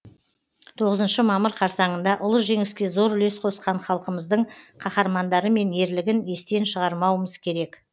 тоғызыншы мамыр қарсаңында ұлы жеңіске зор үлес қосқан халқымыздың қаһармандары мен ерлігін естен шығармауымыз керек